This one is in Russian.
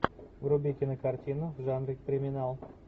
вруби кинокартину в жанре криминал